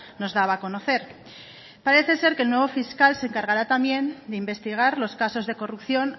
nos daba a conocer parece ser que el nuevo fiscal se encargará también de investigar los casos de corrupción